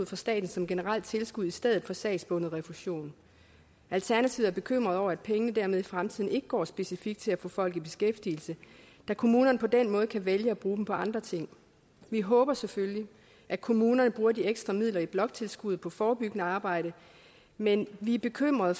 fra staten som generelt tilskud i stedet for sagsbundet refusion alternativet er bekymret over at pengene dermed i fremtiden ikke går specifikt til at få folk i beskæftigelse da kommunerne på den måde kan vælge at bruge dem på andre ting vi håber selvfølgelig at kommunerne bruger de ekstra midler i bloktilskuddet på forebyggende arbejde men vi er bekymret